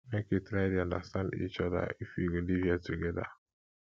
make we try dey understand each oda if we go live here togeda